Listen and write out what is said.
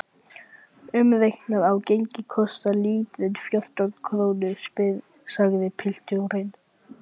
Umreiknað á gengi kostar lítrinn fjórtán krónur, sagði pilturinn.